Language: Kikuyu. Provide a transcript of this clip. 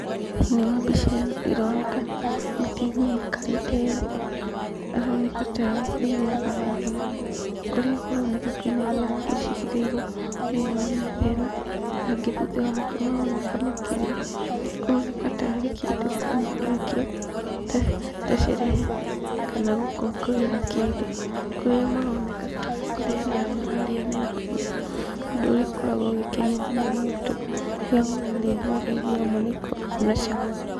Thĩinĩ wa mbica ĩno ĩroneka mũtumia aikarĩte thĩ, na aroneka tarĩ kũihũra araihũra, kũrĩa kũroneka kwĩna irio nyingĩ cigĩrĩirwo thĩinĩ wa metha ĩno, nangĩ thutha wake maroneka makĩrĩa, kũroneka tarĩ kĩndũ kuuma nakĩo, ta cerehe, kana gũkũngũĩra kĩndũ, kũrĩa maroneka tarĩ kũrĩanĩra mararĩanĩra hamwe, ũndũ ũrĩa ũkoragwo ũgĩkenia mũno mũndũ, rĩrĩa mũrarĩanĩra irio hamwe nĩ ikoragwo na cama.